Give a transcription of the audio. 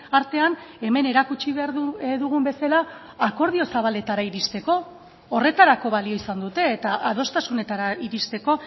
artean hemen erakutsi behar dugun bezala akordio zabaletara iristeko horretarako balio izan dute eta adostasunetara iristeko